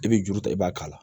I bɛ juru ta i b'a k'a la